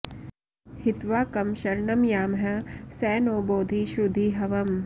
हित्वा कं शरणं यामः स नो बोधि श्रुधी हवम्